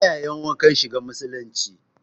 Fita yayi wankan shiga musulunci